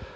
"。